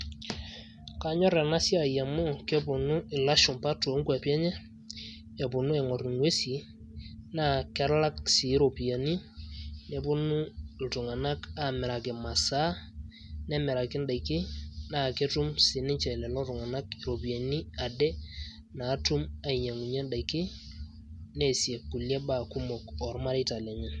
kanyor ena siai mau kepuonu ilashumpa too kuapi enye, epuonu aaing'or ing'uesi, naa, kelak sii iropiyiani, nepuonu iltunganak, aamiraki imasaa, nemiraki idaikin, naa ketum sii ninche lelo tung'anak idaikin, iropiyiani adake, natum ainyiang'unye kulie daikin, neesie kulie baa kumok oormareita lenye.